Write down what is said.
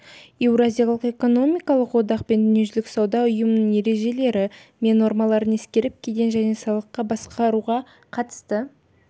еуразиялық экономикалық одақ пен дүниежүзілік сауда ұйымының ережелері мен нормалары ескеріліп кеден және салықтық басқаруға қатысты